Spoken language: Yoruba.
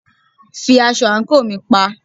Fi aṣọ àńkò mi pa!